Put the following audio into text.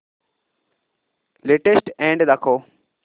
latest ad दाखव